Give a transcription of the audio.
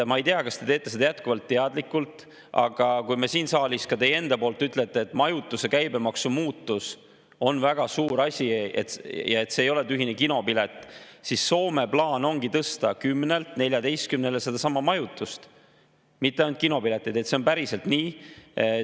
Ma ei tea, kas te teete seda jätkuvalt teadlikult, aga kui te siin saalis ka ütlete, et majutuse käibemaksu muutus on väga suur asi ja et see ei ole tühine kinopilet, siis Soome plaan ongi tõsta 10%‑lt 14%‑le sedasama majutuse, mitte ainult kinopiletite – see on päriselt nii.